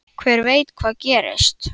Hver veit hvað gerist?